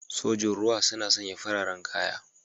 Sojin ruwa suna sanya fararen kaya.